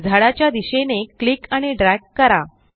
झाडाच्या दिशेने क्लिक आणि ड्रॅग करा